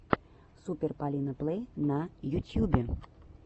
супер полина плэй на ютьюбе